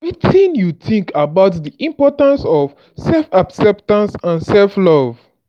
wetin you think about di importance of self-acceptance and self-love?